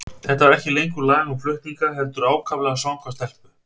Þetta var ekki lengur lag um flutninga, heldur ákaflega svanga stelpu.